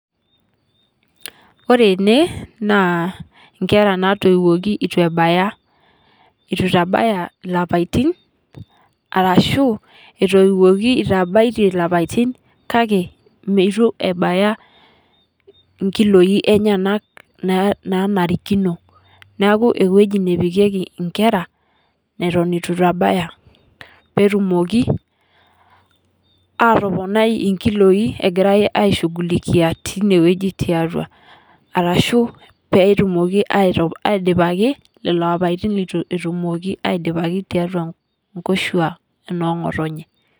Kore ene na nkeraa natowuoki atuu ebayaa, etuu etabayaa laipaatin arashu etuwuoki etabaayie laapatin kaki metuu ebayaa nkiloi enyanaak nanarikinoo. Naaku ewueji nepikeki nkeraa netoon etuu etabayaa pee etumooki atoponoi nkiloi egiraa aishungulikia tenewueji te atua arashu pee tumooki eidipaaki lolo apaatin letuu tumooki adipaaki te atua nkoshuaa noo ng'otenyee.